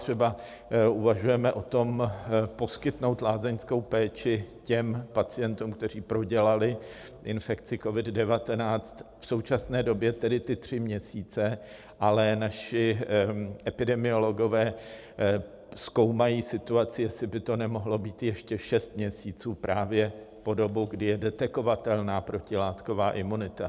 Třeba uvažujeme o tom, poskytnout lázeňskou péči těm pacientům, kteří prodělali infekci COVID-19, v současné době tedy ty tři měsíce, ale naši epidemiologové zkoumají situaci, jestli by to nemohlo být ještě šest měsíců, právě po dobu, kdy je detekovatelná protilátková imunita.